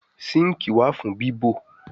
sinkii wá fún bibọ.